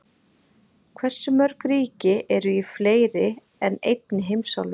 Hversu mörg ríki eru í fleiri en einni heimsálfu?